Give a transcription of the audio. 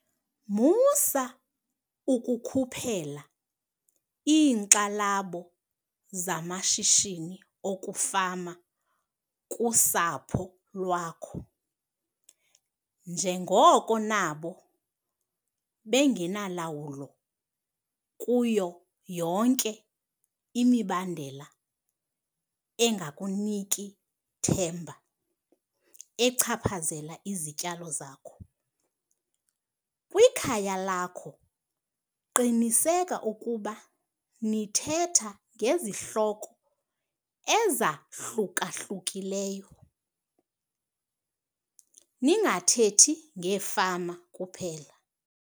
Musa ukukhuphela iinkxalabo zamashishini okufama kusapho lwakho njengoko nabo bengenalawulo kuyo yonke imibandela enganiki themba echaphazela izityalo zakho. Kwikhaya lakho qiniseka ukuba nithetha ngezihloko ezahluka-hlukileyo ningathethi ngefama kuphela.